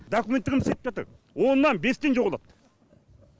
документтерін істеп бердік оннан бестен жоғалады